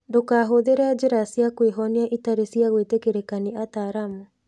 Ndũkahũthĩre njĩra cia kwĩhonia itarĩ cia gwĩtĩkĩrĩka nĩ ataaramu.